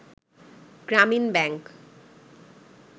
Gramin bank